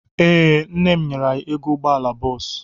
Ee, nne m nyere m ego ụgbọala bọọsụ.